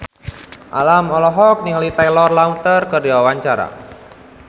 Alam olohok ningali Taylor Lautner keur diwawancara